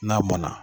N'a mɔnna